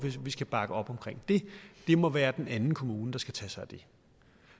vi skal bakke op om det det må være den anden kommune der skal tage sig af det